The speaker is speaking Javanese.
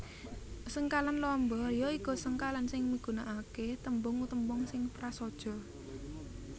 Sengkalan lamba ya iku sengkalan sing migunakaké tembung tembung sing prasaja